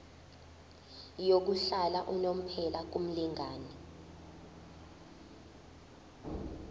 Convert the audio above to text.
yokuhlala unomphela kumlingani